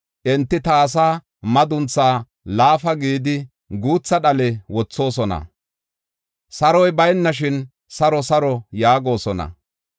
Enti ta asaa madunthaa laafa gidi, guutha dhale wothoosona. Saroy baynashin ‘Saro, saro!’ yaagosona.